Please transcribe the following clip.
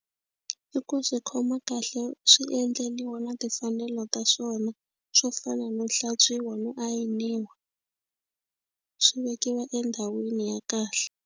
I ku swi khoma kahle swi endleriwe na timfanelo ta swona swo fana no hlantswiwa no ayiniwa swi vekiwa endhawini ya kahle.